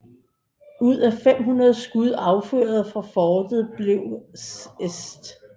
Ud af 500 skud affyret fra fortet blev St